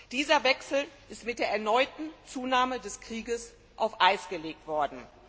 Dieser Wechsel ist mit der erneuten Zunahme des Krieges auf Eis gelegt worden.